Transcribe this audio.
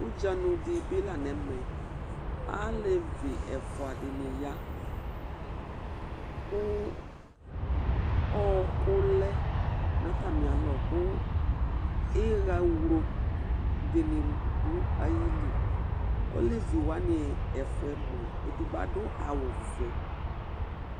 Ʊɗjanʊ ɛɗɩɓɩlanʊ ɛmɛ aleʋɩ ɛfʊaɗɩnɩ aya, ɔƙʊlɛnʊ atamɩalɔ ƙʊ ɩhawlo ɗɩnɩɗʊ aƴɩlɩ aleʋɩ ɛfʊawanɩmʊa egɓo aɗʊ awʊ ɔʋɛ